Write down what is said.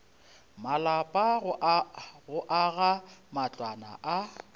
malapa go aga matlwana a